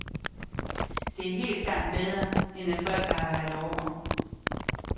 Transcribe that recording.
Det er helt klart bedre, end at folk arbejder over.